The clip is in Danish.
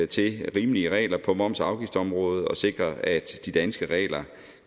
til rimelige regler på moms og afgiftsområdet og sikrer at de danske regler